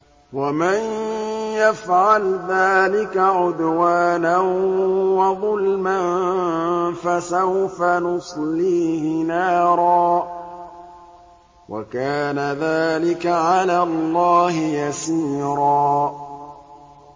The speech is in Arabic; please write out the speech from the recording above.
وَمَن يَفْعَلْ ذَٰلِكَ عُدْوَانًا وَظُلْمًا فَسَوْفَ نُصْلِيهِ نَارًا ۚ وَكَانَ ذَٰلِكَ عَلَى اللَّهِ يَسِيرًا